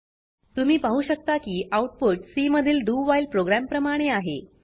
तुम्ही पाहु शकता की आउटपुट सी मधील doव्हाईल प्रोग्राम प्रमाणे आहे